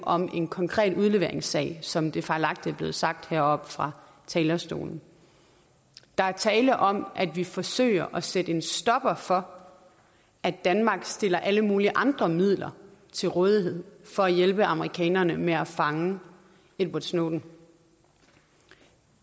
om en konkret udleveringssag som det fejlagtigt er blevet sagt heroppe fra talerstolen der er tale om at vi forsøger at sætte en stopper for at danmark stiller alle mulige andre midler til rådighed for at hjælpe amerikanerne med at fange edward snowden